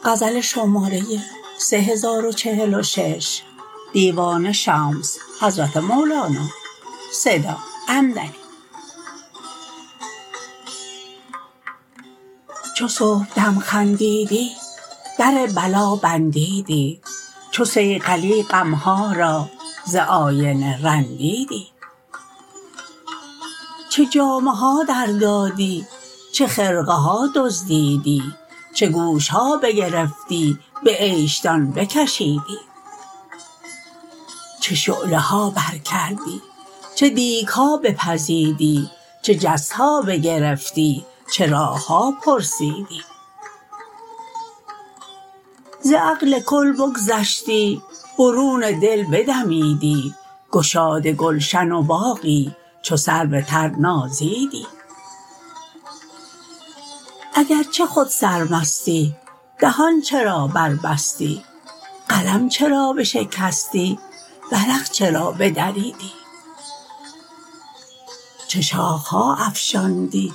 چو صبحدم خندیدی در بلا بندیدی چو صیقلی غم ها را ز آینه رندیدی چه جامه ها دردادی چه خرقه ها دزدیدی چه گوش ها بگرفتی به عیش دان بکشیدی چه شعله ها برکردی چه دیک ها بپزیدی چه جس ها بگرفتی چه راه ها پرسیدی ز عقل کل بگذشتی برون دل بدمیدی گشاد گلشن و باغی چو سرو تر نازیدی اگر چه خود سرمستی دهان چرا بربستی قلم چرا بشکستی ورق چرا بدریدی چه شاخه ها افشاندی